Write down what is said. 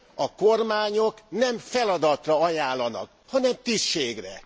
A kormányok nem feladatra ajánlanak, hanem tisztségre.